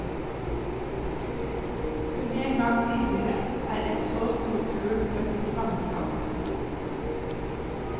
Kun en gang tidligere er et så stort kull født i fangenskap.